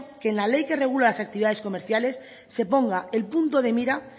que en la ley que regula las actividades comerciales se ponga el punto de mira